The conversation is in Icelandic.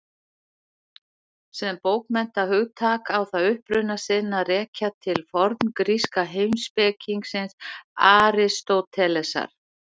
Sem bókmenntahugtak á það uppruna sinn að rekja til forngríska heimspekingsins Aristótelesar.